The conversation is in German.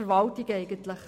Weshalb dies?